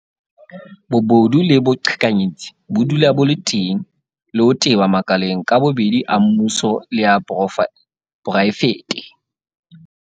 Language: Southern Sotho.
Bobodu le boqhekanyetsi bo dula bo le teng le ho teba makaleng ka bobedi a mmuso le a poraefete.